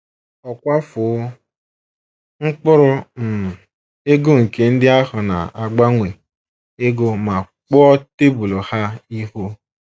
Ọ kwafuo mkpụrụ um ego nke ndị ahụ na - agbanwe ego ma kpuo tebụl ha ihu.